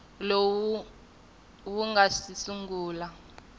lowu wu nga si sungula